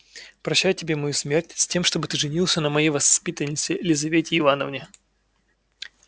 прощаю тебе мою смерть с тем чтоб ты женился на моей воспитаннице лизавете ивановне